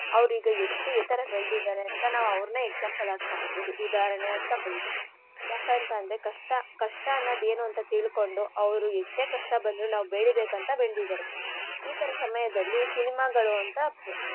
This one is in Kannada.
ಅವ್ರ್ ಈಗ ಎಷ್ಟ್ ಎತ್ತರ ಬೆಳ್ದಿದಾರೆ ಅಂತ ನಾವು ಅವ್ರ್ನೆ example ಆಗ್ ತೊಗೋಬೌದು ಉದಾಹರಣೆಯಾಗ್ ತೊಗೋಬೌದು. ಯಾಕಂತಂದ್ರೆ ಕಷ್ಟ ಕಷ್ಟ ಅನ್ನದ್ ಏನು ಅಂತ ತಿಳ್ಕೊಂಡು ಅವ್ರು ಎಷ್ಟೇ ಕಷ್ಟ ಬಂದ್ರೂ ನಾವ್ ಬೆಳೀಬೇಕಂತ ಬೆಳ್ದಿದಾರೆ. ಈ ತರ ಸಮಯದಲ್ಲಿ cinema ಗಳು ಅಂತ.